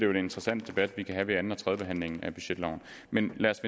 en interessant debat vi kan have ved anden og tredje behandling af budgetloven men lad os